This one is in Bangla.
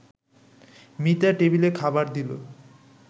মিতা টেবিলে খাবার দিল